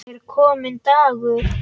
Er kominn dagur?